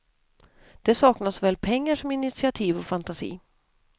Det saknas såväl pengar som initiativ och fantasi.